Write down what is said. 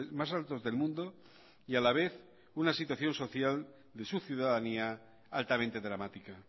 más altos del mundo y a la vez una situación social de su ciudadanía altamente dramática